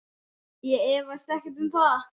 Ég efast ekkert um það.